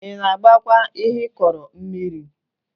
Ị na-agbakwa ihe ịkọrọ mmiri?